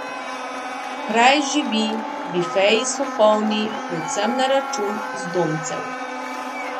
Kraj živi, bifeji so polni, predvsem na račun zdomcev.